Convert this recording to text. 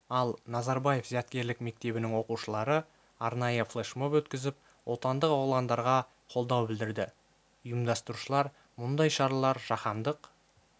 ал назарбаев зияткерлік мектебінің оқушылары арнайы флешмоб өткізіп отандық оғландарға қолдау білдірді ұйымдастырушылар мұндай шаралар жаһандық